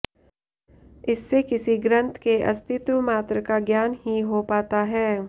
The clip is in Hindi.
इससे किसी ग्रंथ के अस्तित्व मात्र का ज्ञान ही हो पाता है